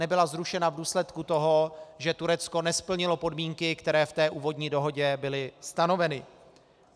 Nebyla zrušena v důsledku toho, že Turecko nesplnilo podmínky, které v té úvodní dohodě byly stanoveny.